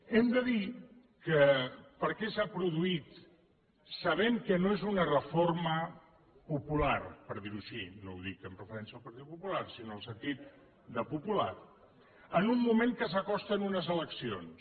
hem de dir per què s’ha produït sabent que no és una reforma popular per dir ho així no ho dic amb referència al partit popular sinó al sentit de popular en un moment que s’acosten unes eleccions